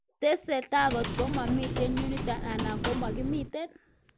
Tesetai kotkemiten yunito anan komakimiten?